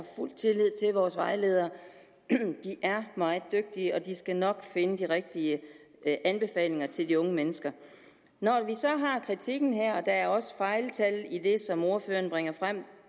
fuld tillid til vores vejledere de er meget dygtige og de skal nok finde de rigtige anbefalinger til de unge mennesker når vi så har kritikken her og der er også fejltal i det som ordføreren bringer frem